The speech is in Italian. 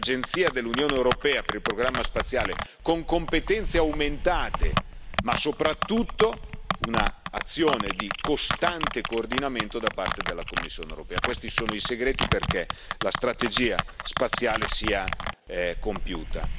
Quindi l'Agenzia dell'Unione europea per il programma spaziale con competenze aumentate, ma soprattutto un'azione di costante coordinamento da parte della Commissione europea questi sono i segreti perché la strategia spaziale sia compiuta.